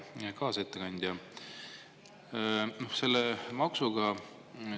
Hea kaasettekandja!